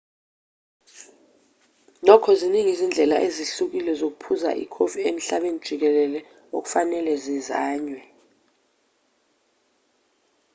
nokho ziningi izindlela ezihlukile zokuphuza ikofi emhlabeni jikelele okufanele zizanywe